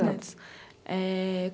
netos. Eh...